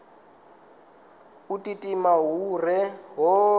u timatima hu re hone